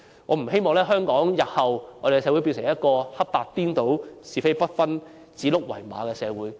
我不希望香港社會日後變成一個黑白顛倒、是非不分、指鹿為馬的社會。